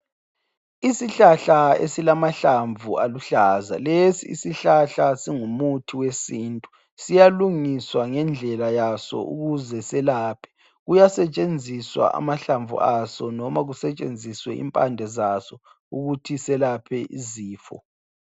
Isihlahla esilamahlamvu aluhlaza lesi isihlahla singumuthi wesintu siyalungiswa ngendlela waso ukuze selaphe kuyasetshenziswa amahlamvu aso noma kusetshenziswe impande zazo ukuthi selaphe izifo.